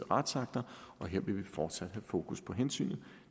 retsakter og her vil vi fortsat have fokus på hensynet